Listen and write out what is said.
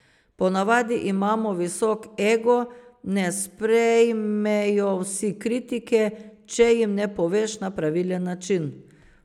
Ponavadi imamo visok ego, ne sprejmejo vsi kritike, če jim ne poveš na pravilen način.